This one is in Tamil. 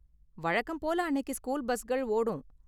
வழக்கம் போல அன்னைக்கு ஸ்கூல் பஸ்கள் ஓடும்.